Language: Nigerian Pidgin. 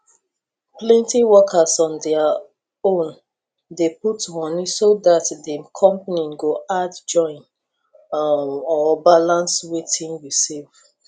plenty workers on their own dey put money so that the company go add join um or balance wetin you save